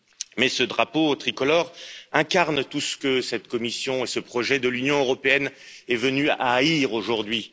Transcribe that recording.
Mais ce drapeau tricolore incarne tout ce que cette Commission et ce projet de l'Union européenne est venu à haïr aujourd'hui.